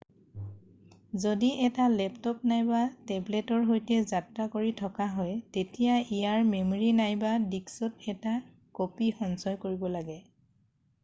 যদি এটা লেপট'প নাইবা টেবলেটৰ সৈতে যাত্ৰা কৰি থকা হয় তেতিয়া ইয়াৰ মেম'ৰী নাইবা ডিস্কত এটা ক'পী সঞ্চয় কৰিব লাগে৷